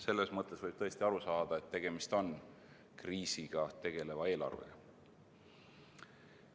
Selles mõttes võib tõesti aru saada, et tegemist on kriisiga tegeleva eelarvega.